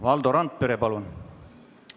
Valdo Randpere, palun!